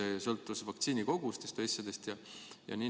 Kas see sõltus näiteks vaktsiinikogustest?